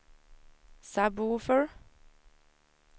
sub-woofer